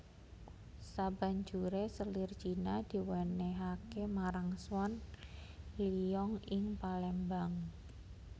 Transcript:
Sabanjuré selir Cina diwènèhaké marang Swan Liong ing Palembang